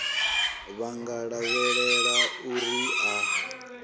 vha nga lavhelela uri a